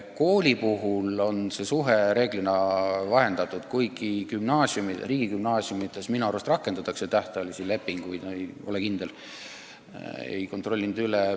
Kooli puhul on see suhe reeglina vahendatud, kuigi riigigümnaasiumides minu arust rakendatakse tähtajalisi lepinguid – ei ole kindel, ei ole kontrollinud.